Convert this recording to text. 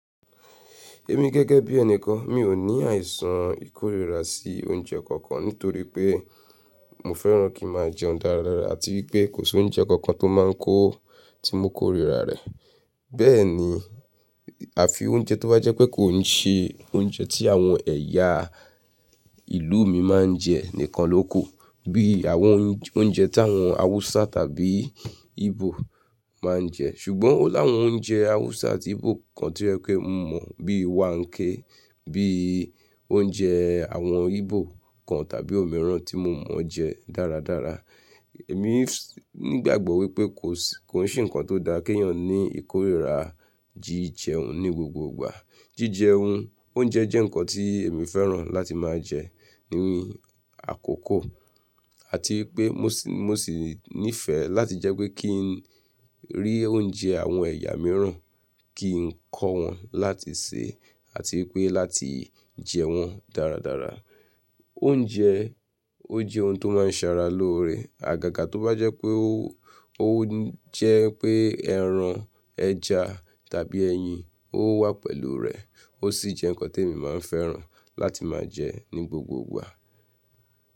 Èmi gẹ́gẹ́ bí ẹnìkan mi ò ní àìsàn ìkórìíra sí oúnjẹ kankan nítorí pé mo fẹ́ràn kí má jẹ ọ̀n dáradára àti wípé kò sí oúnjẹ kankan tó máa ń kó tí mo kórìíra rẹ̀. Bẹ́ẹ̀ ni àfi oúnjẹ tó bá jẹ́ pé kò ń se oúnjẹ tí àwọn ẹ̀yà ìlú mi máa ń jẹ nìkan lóku. Bí i àwọn oúnjẹ tí àwọn Hausa tàbí Igbo máa ń jẹ. Ṣùgbọ́n ó láwọn oúnjẹ Hausa àti Igbo kan tí ọ jẹ ípé mo mọ̀ bí i waakẹ, bí i oúnjẹ àwọn Igbo kan tàbí òmíràn tí mo mọ̀ jẹ dáradára. Èmi nígbàgbọ́ wípé kò sí–kò ń ṣe ǹkan tó da kí ènìyàn ní ìkórìíra jí jẹun ní gbogbogbò. Jíjẹun, oúnjẹ jẹ́ ǹkan tí èmi fẹ́ràn láti máa jẹ ní àkókò àti í pé mo sì níìfẹ̀ẹ́ láti jẹ́ pé kí n rí oúnjẹ àwọn ẹ̀yà mìíràn, kí n kọ́ wọn láti se àti pé láti jẹ wọ́n dáradára. Oúnjẹ, ó jẹ́ ohun tó máa ń sara lóore. Àgàgà tó bá jẹ́ pé ó jẹ́ pé ẹran, ẹja tàbí ẹyin ó wà pẹ̀lú rẹ̀ ó sì jẹ́ ǹkan tí èmi máa ń fẹ́ràn láti máa jẹ ní gbogbo ìgbà.